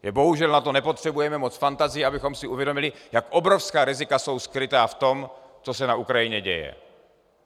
Bohužel na to nepotřebujeme moc fantazie, abychom si uvědomili, jak obrovská rizika jsou skrytá v tom, co se na Ukrajině děje.